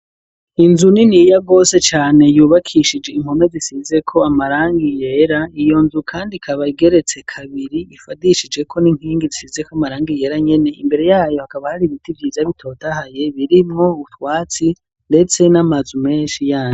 inzu niniya gose cane yubakishije impome zisizeko amarangi yera, iyo nzu kandi ikaba igeretse kabiri ifadishijeko n'inkingi zisizeko amarangi yera nyene imbere yayo hakaba hari ibiti vyiza bitotahaye birimwo utwatsi ndetse n'amazu menshi yayo.